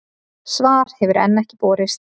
Svar hefur enn ekki borist.